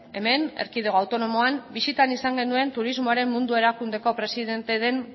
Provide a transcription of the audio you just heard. hemen erkideko autonomoan bisitan izan genuen turismoaren mundu erakundeko presidente den